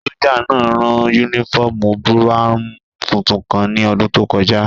Sójà náà rán yúnífọ́ọ̀mù búráwùn tuntun kan ní ọdún tó kọjá